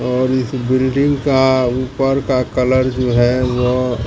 और इस बिल्डिंग का ऊपर का कलर जो है वो--